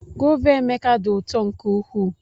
Gova Emeka dị ụtọ nke ukwuu.